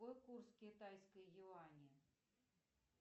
какой курс китайской юани